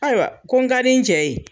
Ayiwa ko n ka di n cɛ ye!